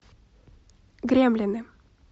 гремлины